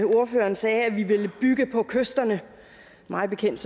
ordføreren sagde at vi ville bygge på kysterne mig bekendt